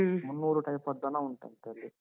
ಮುನ್ನೂರು type ಅದ್ ದನ ಉಂಟಂತೆ ಅಲ್ಲಿ.